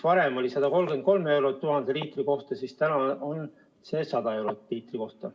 Varem oli see 133 eurot 1000 liitri kohta, nüüd on 100 eurot 1000 liitri kohta.